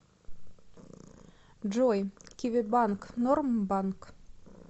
джой киви банк норм банк